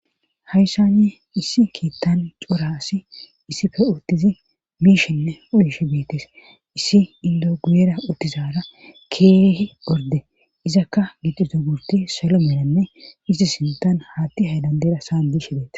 hayssani issi kiittan cora assi issife uttidi miishenne uyishe beetes issi indoo guyera uttizaara keehi orde izakka gixizo gurdey salo melanne issi sintan haatti haydandeera sa'an biishe beetes